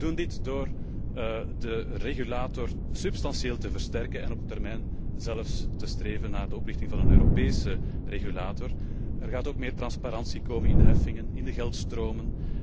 We doen dit door de regulator substantieel te versterken en op termijn zelfs te streven naar de oprichting van een Europese regulator. Er gaat ook meer transparantie komen in de heffingen, in de geldstromen.